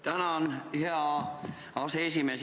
Tänan, hea aseesimees!